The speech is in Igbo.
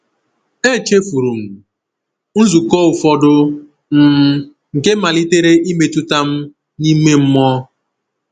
Echefuru m nzukọ ụfọdụ, um nke malitere imetụta m n’ime mmụọ.